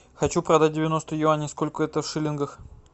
хочу продать девяносто юаней сколько это в шиллингах